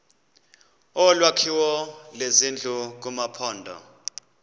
olwakhiwo lwezindlu kumaphondo